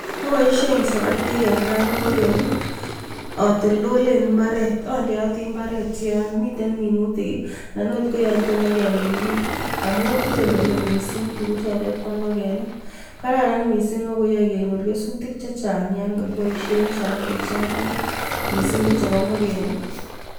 Aboishen siratik en kapingoken atoltolen imbaret. Andeati imbaret yon miten minutik anan akok yo toma kemin kiy amun itoltolei mising tukuchotet bo ingokenik. Kararan mising ako yoei kenyor kesutik chechang yon kakiboishe siratik mising ko chebo ngokenik.